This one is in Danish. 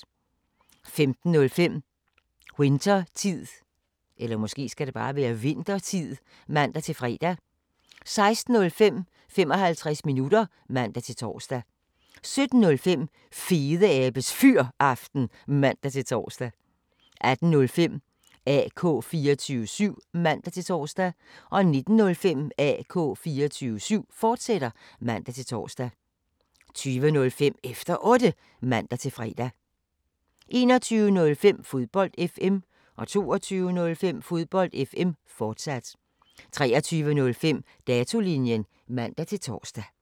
15:05: Winthertid (man-fre) 16:05: 55 minutter (man-tor) 17:05: Fedeabes Fyraften (man-tor) 18:05: AK 24syv (man-tor) 19:05: AK 24syv, fortsat (man-tor) 20:05: Efter Otte (man-fre) 21:05: Fodbold FM 22:05: Fodbold FM, fortsat 23:05: Datolinjen (man-tor)